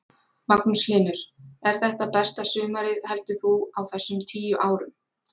Magnús Hlynur: Er þetta besta sumarið heldur þú á þessum tíu árum?